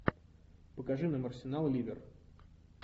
покажи нам арсенал ливер